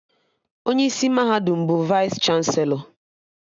Onye isi mahadum bụ Vaịs chanselọ